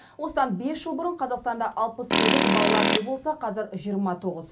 осыдан бес жыл бұрын қазақстанда алпыс сегіз балалар үйі болса қазір жиырма тоғыз